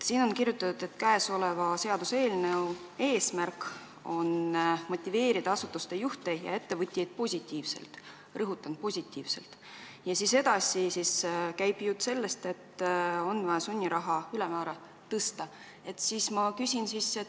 Siin on kirjutatud, et seaduseelnõu eesmärk on motiveerida asutuste juhte ja ettevõtjaid positiivselt – rõhutan, positiivselt –, ja edasi on jutt sellest, et on vaja sunniraha ülemmäära tõsta.